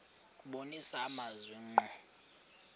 kubonisa amazwi ngqo